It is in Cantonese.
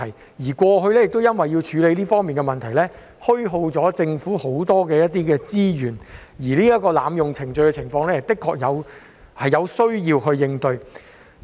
政府過去因為要處理這方面的問題，虛耗了很多資源，而濫用程序的情況，的確有需要處理。